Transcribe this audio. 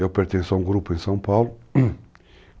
Eu pertenço a um grupo em São Paulo.